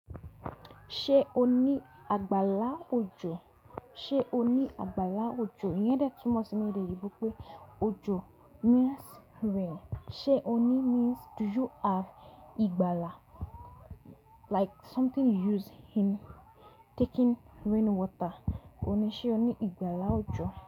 Ṣé o ní àgbàlá òjò? Ṣé o ní àgbàlá òjò? Iyẹ́n dé tunmo si ni ede oyinbo pé òjò means rain. Ṣé o ní means do you have ìgbàlá, like something you use in taking rain water. O ní, ṣé o ní ìgbàlá òjò?